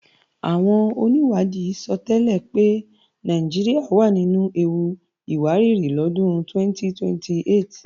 Àwọn onìwádìí sọtẹ́lẹ̀ pé Nàìjíríà wà nínu ewu ìwárìrì lọ́dún 2028